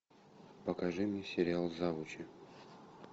покажи мне сериал завучи